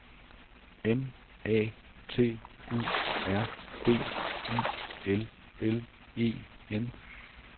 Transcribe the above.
N A T U R D I L L E N